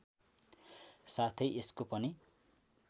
साथै यसको पनि